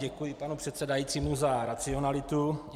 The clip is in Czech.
Děkuji panu předsedajícímu za racionalitu.